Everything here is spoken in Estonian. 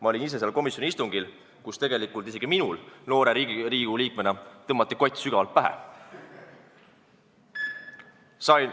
Ma olin ise seal komisjoni istungil, kus tegelikult isegi minule noore Riigikogu liikmena tõmmati kott sügavalt pähe.